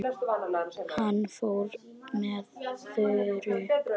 Hann fór með Þuru og